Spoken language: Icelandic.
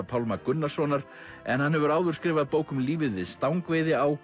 Pálma Gunnarssonar en hann hefur áður skrifað bók um lífið við